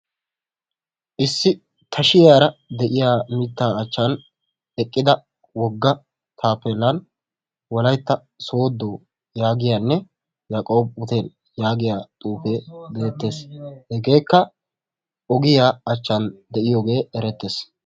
Issi tashiyara de"iya mittaa achchan eqqida wogga taappeellan wolaytta sooddo yaagiynne yaaqoob hootel yaagiya xuufee beettes. Hegeekka ogiya achchan de"iyoge erettes.